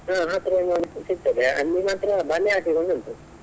ಹ ಹತ್ರಾ ನೋಡ್ಲಿಕ್ಕೆ ಸಿಗ್ತದೆ ಅಲ್ಲಿ ಮಾತ್ರ ಒಂದು ಉಂಟು.